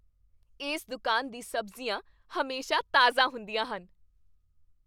ਇਸ ਦੁਕਾਨ ਦੀ ਸਬਜ਼ੀਆਂ ਹਮੇਸ਼ਾ ਤਾਜ਼ਾ ਹੁੰਦੀਆਂ ਹਨ।